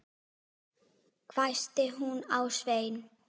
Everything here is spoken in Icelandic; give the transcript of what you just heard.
hvæsti hún á Svein